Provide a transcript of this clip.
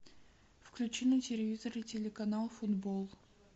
включи на телевизоре телеканал футбол